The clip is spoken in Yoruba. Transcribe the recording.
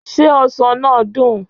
Ṣé ọsàn náà dùn?